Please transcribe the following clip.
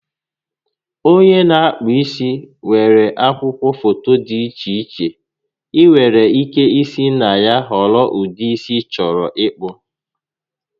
Onye n'akpụ isi nwere akwụkwọ foto dị iche iche ịnwere ike isi na ya họrọ ụdị isi ị chọrọ ịkpụ